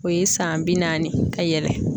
O ye san bi naani ka yɛlɛ.